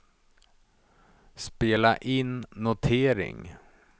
spela in notering